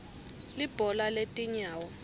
libhola letinyawo